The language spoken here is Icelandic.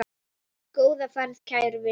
Góða ferð, kæri vinur.